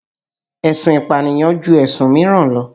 Èsun ìpànìyàn ju ẹ̀sùn míràn lọ.